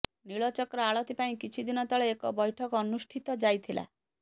ନୀଳଚକ୍ର ଆଳତୀ ପାଇଁ କିଛି ଦିନ ତଳେ ଏକ ବୈଠକ ଅନୁଷ୍ଠିତ ଯାଇଥିଲା